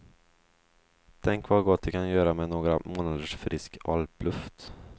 Tänk vad gott det kan göra med några månaders frisk alpluft.